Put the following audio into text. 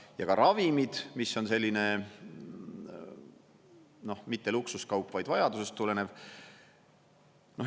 Ja ka ravimid, mis on selline, noh mitte luksuskaup, vaid vajadusest tulenev.